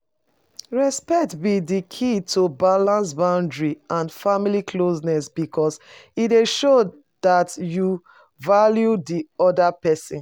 Respect be di key to balance boundaries and family closeness, because e dey show dat you value di oda pesin.